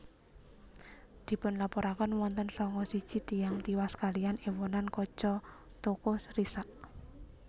Dipunlaporaken wonten sanga siji tiyang tiwas kaliyan èwonan kaca toko risak